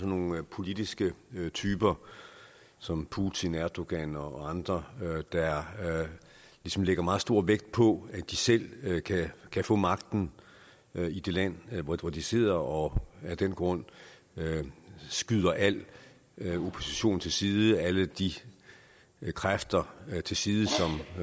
nogle politiske typer som putin erdogan og andre der ligesom lægger meget stor vægt på at de selv kan få magten i det land hvor de sidder og af den grund skyder al opposition til side alle de kræfter til side